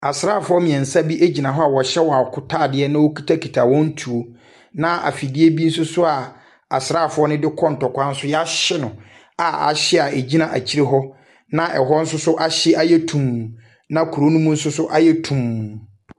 Asraafoɔ mmeɛnsa bi gyina hɔ a wɔhyɛ wɔn akotadeɛ na wɔkitakita wɔn tuo, na afidie bi nso so a asraafoɔ no de kɔ ntɔkwa nso wɔahye no, a ahye a ɛgyina akyire hɔ, na ɛhɔ nso so ahyɛ ayɛ tumm, na kuro no mu nso so ayɛ tumm.